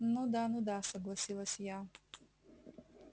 ну да ну да согласилась я